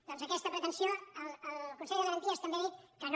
doncs a aquesta pretensió el consell de garanties també ha dit que no